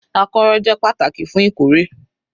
Akọ́rọ́ jẹ́ pàtàkì fún ìkórè